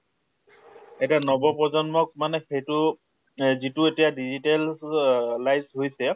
এটা নৱপ্ৰজন্মক মানে সেইটো সিটো এতিয়া digitalized হৈছে